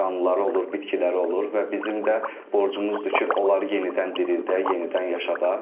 Canlılara olur, bitkilərə olur və bizim də borcumuzdur ki, onları yenidən dirildək, yenidən yaşadaq.